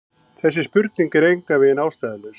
Þessi spurning er engan veginn ástæðulaus.